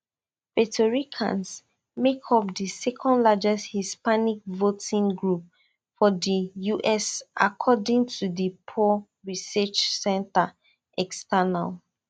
puerto ricans make up di secondlargest hispanic voting group for di us according to di pew research center external